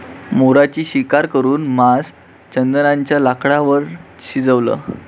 मोराची शिकार करून मांस चंदनाच्या लाकडांवर शिजवलं